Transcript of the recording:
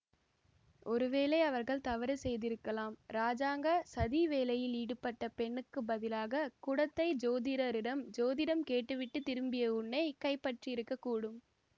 ஒருவேளை அவர்கள் தவறு செய்திருக்கலாம் இராஜாங்க சதி வேலையில் ஈடுபட்ட பெண்ணுக்கு பதிலாகக் குடத்தை ஜோதிடரிடம் ஜோதிடம் கேட்டுவிட்டுத் திரும்பிய உன்னை கைப்பற்றியிருக்கக் கூடும்